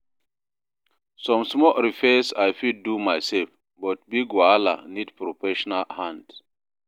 Some small repairs I fit do myself, but big wahala need professional hand.